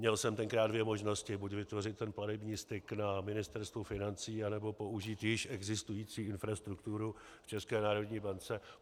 Měl jsem tenkrát dvě možnosti, buď vytvořit ten platební styk na Ministerstvu financí, anebo použít již existující infrastrukturu v České národní bance.